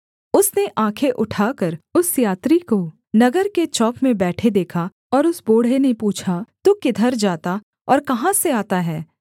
उसने आँखें उठाकर उस यात्री को नगर के चौक में बैठे देखा और उस बूढ़े ने पूछा तू किधर जाता और कहाँ से आता है